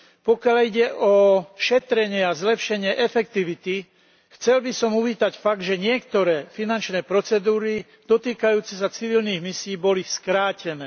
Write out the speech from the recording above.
Pokiaľ ide o šetrenie a zlepšenie efektivity, chcel by som uvítať fakt, že niektoré finančné procedúry týkajúce sa civilných misií boli skrátené.